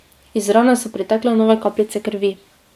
Iz rane so pritekle nove kapljice krvi.